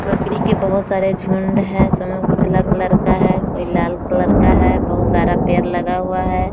बकरी के बोहोत सारे झुंड है। उसमें उजला कलर का है कोई लाल कलर का है। बोहोत सारा पेड़ लगा हुआ है।